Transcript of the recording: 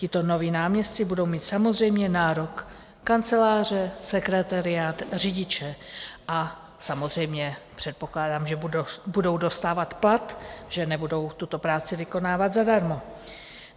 Tito noví náměstci budou mít samozřejmě nárok kanceláře, sekretariát, řidiče a samozřejmě předpokládám, že budou dostávat plat, že nebudou tuto práci vykonávat zadarmo.